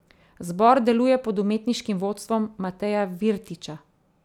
Zbor deluje pod umetniškim vodstvom Mateja Virtiča.